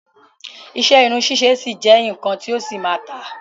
Iṣẹ́ irun ṣíṣe ṣì jẹ́ nnkan ti yóò ṣì máa tà.